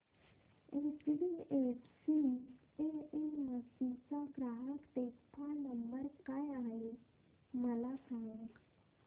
HDFC AMC चा ग्राहक देखभाल नंबर काय आहे मला सांग